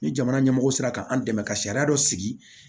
Ni jamana ɲɛmɔgɔ sera ka an dɛmɛ ka sariya dɔ sigi